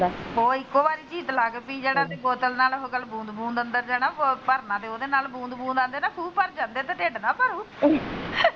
ਉਹ ਇੱਕੋ ਵਾਰੀ ਚੀਟ ਲਾਕੇ ਪੀ ਜਾਣਾ ਤੇ ਬੋਤਲ ਚ ਬੂੰਦ ਅੰਦਰ ਜਾਣਾ ਭਰਨਾ ਤੇ ਉਹਦੇ ਨਾਲ ਬੁੰਦ ਬੁੰਦ ਨਾਲ ਕਹਿੰਦੇ ਖੂਹ ਭਰ ਜਾਂਦਾ ਢਿੱਡ ਨਾ ਭਰੂ।